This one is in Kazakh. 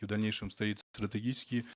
и в дальнейшем стоит стратегический